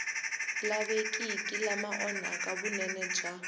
lavekiki lama onhaka vunene bya